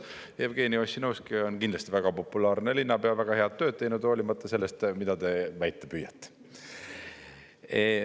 Jevgeni Ossinovski on kindlasti väga populaarne linnapea, väga head tööd teinud, hoolimata sellest, mida te väita püüate.